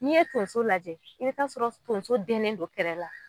N'i ye tonso lajɛ i bɛ t'a sɔrɔ tonso dɛnnen don kɛrɛ la.